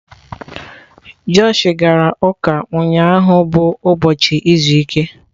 Josh gara ụka ụnyahụ bụ ụbọchị izu ike.